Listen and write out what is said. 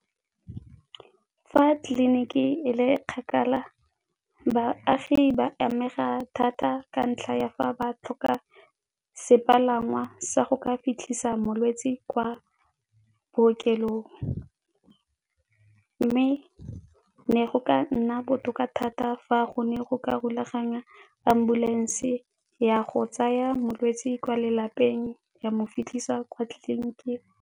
Fa tleliniki e le kgakala baagi ba amega thata ka ntlha ya fa ba tlhoka sepalangwa sa go ka fitlhisa molwetse kwa bookelong. Mme ne go ka nna botoka thata fa go ne go ka rulaganywa ambulance ya go tsaya molwetse kwa lelapeng ya mo fitlhisa kwa tleliniking